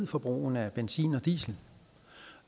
for hvornår